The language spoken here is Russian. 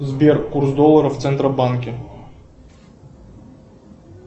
сбер курс доллара в центробанке